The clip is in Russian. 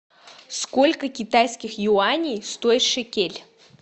сколько китайских юаней стоит шекель